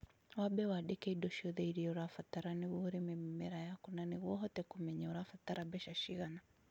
wambe wandike indo ciothe ĩrĩa ũrabatara nĩguo ũrĩme mĩmera yaku na nĩguo ũhote kũmenya urabatara mbeca cigana